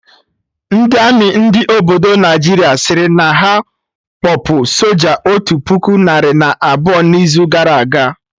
Ndị army ndị obodo Naijiria sịrị na ha kpọpụ soja otu puku narị na abụọ na izu gara aga